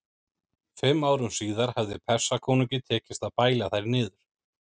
Fimm árum síðar hafði Persakonungi tekist að bæla þær niður.